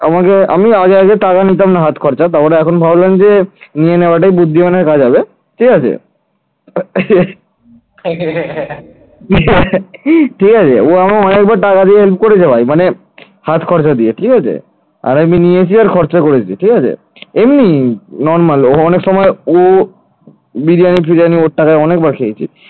এমনি normal ও অনেক সময় ও বিরিয়ানি ফিরিআনি ওর টাকায় অনেকবার খেয়েছি,